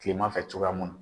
Kileman fɛ cogoya mun na.